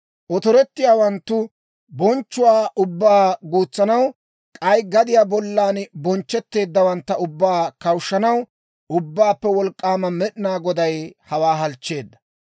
Otorettiyaawanttu bonchchuwaa ubbaa guutsanaw, k'ay gadiyaa bollan bonchchetteeddawantta ubbaa kawushshanaw, Ubbaappe Wolk'k'aama Med'inaa Goday hawaa halchcheedda.